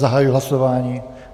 Zahajuji hlasování.